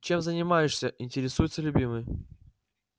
чем занимаешься интересуется любимый